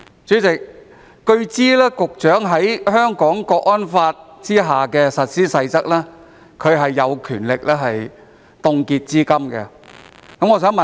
主席，據知根據《香港國安法》的《實施細則》，局長是有權凍結資金的。